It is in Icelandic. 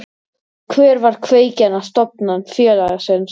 Hver var kveikjan að stofnun félagsins?